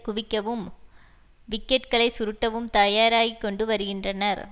குவிக்கவும் விக்கெட்களை சுருட்டவும் தயாராகிக்கொண்டு வருகின்றனர்